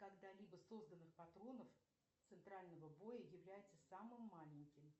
когда либо созданных патронов центрального боя является самым маленьким